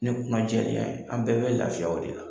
Ne kɔnɔ jɛlenya, an bɛɛ bɛ lafiya o de la.